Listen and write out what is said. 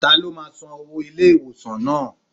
Ta ló ma san owó ilé ìwòsàn náà.?